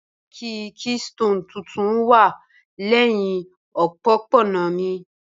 Banki keystone tuntun wa lẹhin opopona mi